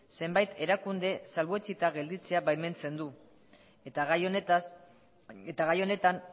zenbait erakunde salbuetsita gelditzea baimentzen du eta gai honetan